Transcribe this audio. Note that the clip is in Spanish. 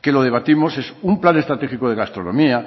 que lo debatimos es un plan estratégico de gastronomía